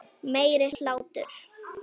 Meiri hlátur.